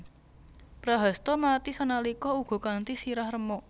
Prahasta mati sanalika uga kanthi sirah remuk